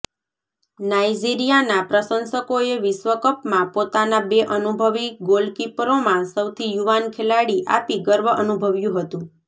નાઇજીરિયાના પ્રશંસકોએ વિશ્વકપમાં પોતાના બે અનુભવી ગોલકીપરોમાં સૌથી યુવાન ખેલાડી આપી ગર્વ અનુભવ્યું હતું